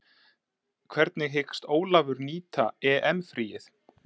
Hvernig hyggst Ólafur nýta EM fríið?